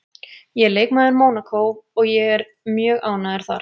Ég er leikmaður Mónakó og ég er mjög ánægður þar